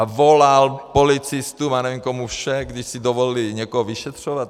A volal policistům a nevím komu všemu, když si dovolili někoho vyšetřovat.